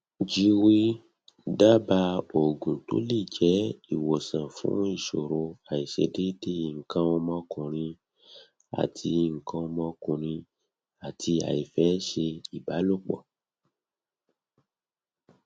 jwiw daaba oogun to le je iwosan fun isoro aisedeede ikan omokunrin ati ikan omokunrin ati aife se ibalopo